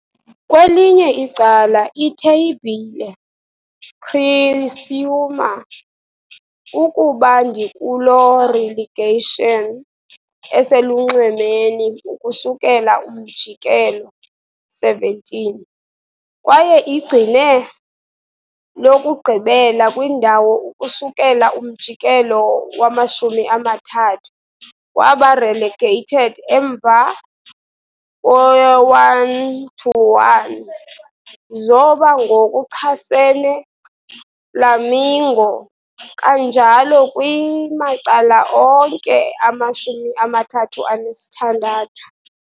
Kwelinye icala itheyibhile, Criciúma, ukuba ndikulo relegation eselunxwemeni ukusukela umjikelo 17, kwaye igcine lokugqibela kwindawo ukusukela umjikelo wama-30, waba relegated emva 1-1 zoba ngokuchasene Flamingo, kanjalo kwi-macala onke ama-36.